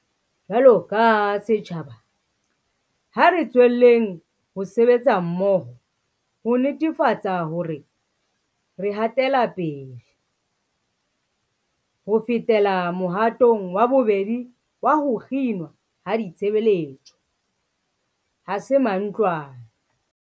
Jwaloka setjhaba, ha re tswelleng ho sebetsa mmoho ho netefatsa hore re hatela pele. Ho fetela mohatong wa bobedi wa ho kginwa ha ditshebeletso 'ha se mantlwane.'